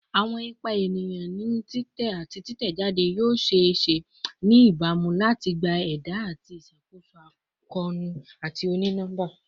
Awọn ipa eniyan ni titẹ ati titẹjade yoo ṣee ṣe ni ibamu lati gba ẹda ati iṣakoso akoonu oni-nọmba